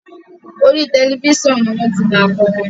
orí Tẹlifísàn ní wón tí má korin